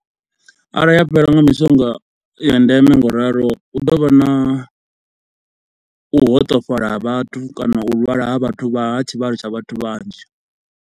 Arali ha fhelelwa nga mishonga ya ndeme ngauralo hu ḓo vha na u hoṱefhala ha vhathu kana u lwala ha vhathu tshivhalo tsha vhathu vhanzhi.